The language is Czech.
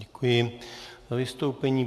Děkuji za vystoupení.